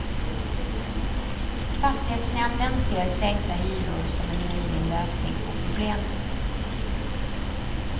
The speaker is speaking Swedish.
Fastighetsnämnden ser sänkta hyror som en möjlig lösning på problemet.